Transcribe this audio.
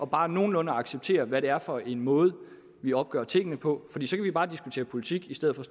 bare nogenlunde at acceptere hvad det er for en måde vi opgør tingene på så kan vi bare diskutere politik i stedet for